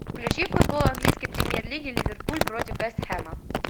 включи футбол английской премьер лиги ливерпуль против вест хэма